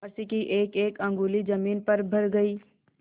फर्श की एकएक अंगुल जमीन भर गयी